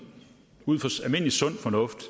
ud fra almindelig sund fornuft